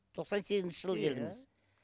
тоқсан сегізінші жылы келдіңіз